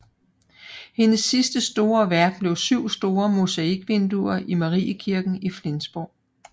Hendes sidste store værk blev syv store mosaikvinduer i Mariekirken i Flensborg